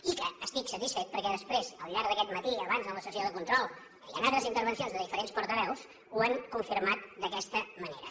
i estic satisfet perquè després al llarg d’aquest matí abans en la sessió de control i en altres intervencions de diferents portaveus ho han confirmat d’aquesta manera